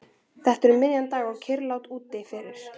Þetta var um miðjan dag og kyrrlátt úti fyrir.